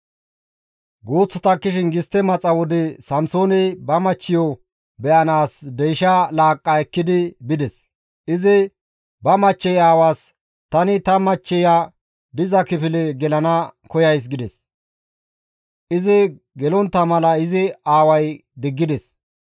Guuth takkishin gistte maxa wode Samsooney ba machchiyo be7anaas deysha laaqqa ekkidi bides; izi ba machchey aawaas, «Tani ta machchiya diza kifile gelana koyays» gides. Izi gelontta mala izi aaway diggides.